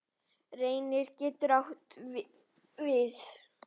Reynir getur átt við